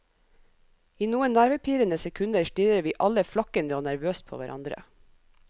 I noen nervepirrende sekunder stirrer vi alle flakkende og nervøst på hverandre.